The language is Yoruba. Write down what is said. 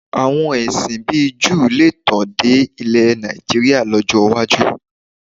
Àwọn ẹ̀sìn bíi Júù lè tàn dé ilẹ̀ Nàìjííríà lọ́jọ́ iwájú